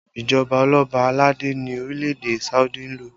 Ìjọba oloba aládé ni orílẹ̀ èdè Saudi ń lò